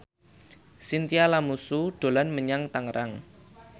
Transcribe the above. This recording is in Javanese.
Chintya Lamusu dolan menyang Tangerang